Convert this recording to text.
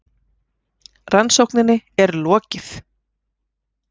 Rannsókninni er lokið!